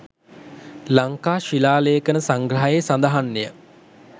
ලංකා ශිලාලේඛන සංග්‍රහයේ සඳහන් ය.